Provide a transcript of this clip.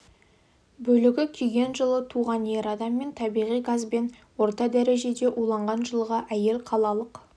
бөлігі күйген жылы туған ер адам мен табиғи газбен орта дәрежеде уланған жылғы әйел қалалық